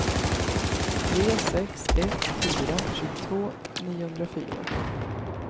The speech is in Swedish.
tre sex ett fyra tjugotvå niohundrafyra